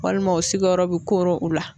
Walima o sigiyɔrɔ bi koro u la